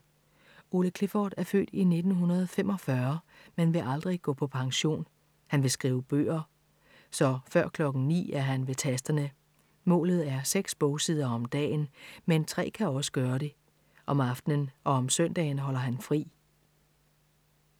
Ole Clifford er født i 1945, men vil aldrig gå på pension. Han vil skrive bøger. Så før klokken ni er han ved tasterne. Målet er seks bogsider om dagen, men tre kan også gøre det. Om aftenen og om søndagen holder han fri.